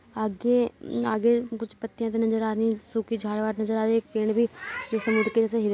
आगे आगे कुछ पत्तियां नजर आ रही है सुखी झाड़ वाड़ नजर आ रहै है एक पेड़ भी जो समुद्र के वजह से हिल रहा है।